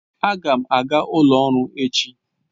Aga m aga ụlọ ọrụ echi.